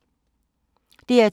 DR2